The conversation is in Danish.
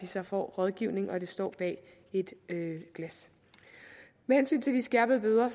så får rådgivning og at de står bag glas med hensyn til de skærpede bøder har